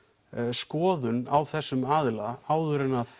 skoðun á þessum aðila áður en